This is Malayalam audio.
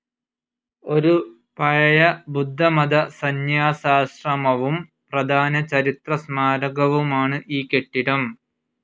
ഒരു പഴയ ബുദ്ധമത സന്യാസാശ്രമവും പ്രധാന ചരിത്ര സ്മാരകവുമാണ് ഈ കെട്ടിടം.